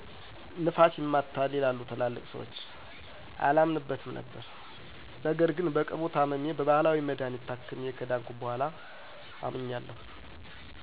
ነፋስ ይማታል ይላሉ ትላልቅ ስዎች አላምንበትም ነበር ነገር ግን በቅርቡ ታምሜ በባህላዊ መድሀኒት ታክሜ ከዳንኩ በኋላ አምኛለሁ።